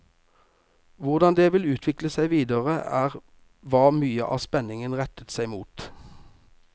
Hvordan det vil utvikle seg videre, er hva mye av spenningen retter seg mot.